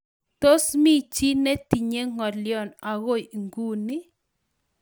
Tos mi chi netinyei ng'olion akoi nguni?